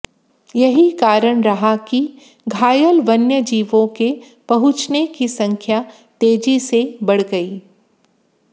यही कारण रहा कि घायल वन्यजीवों के पहुंचने की संख्या तेजी से बढ़ गई